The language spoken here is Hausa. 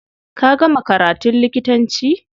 Ka gama karatun likitanci?